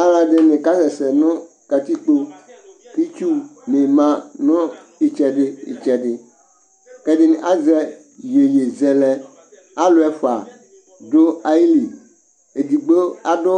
Alʋ ɛdɩnɩ ka sɛsɛ nʋ kǝtikpoItsu nɩ ma nʋ ɩtsɛdɩ tsɛdɩƐdɩnɩ azɛ iyeyezɛlɛ; alʋ ɛfʋa dʋ ayili: edigbo adʋ